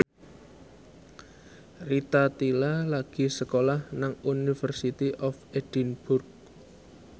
Rita Tila lagi sekolah nang University of Edinburgh